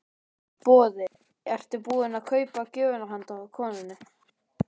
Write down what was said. Boði: Ertu búinn að kaupa gjöfina handa konunni?